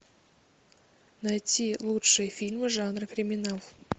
найти лучшие фильмы жанра криминал